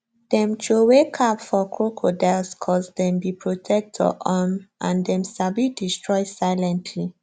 dem throway cap for crocodiles coz dem be protector um and dem sabi destroy silently